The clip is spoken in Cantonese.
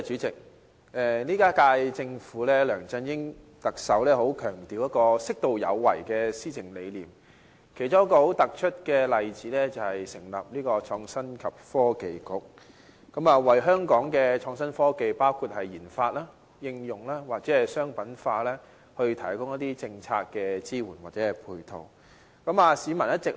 這一屆政府，特首梁振英很強調適度有為的施政理念，其中一個很突出的例子就是成立創新及科技局，為香港的創新科技的研發、應用，或者商品化，提供一些政策支援或配套。